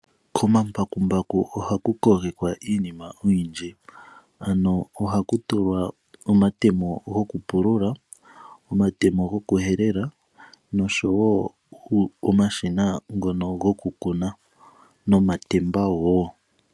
Komambakumbaku ohaku kogekwa iinima oyindji. Ohaku tulwa omatemo gokupulula, omatemo gokuhelela nosho woo omashina gokukuna nomatemba woo.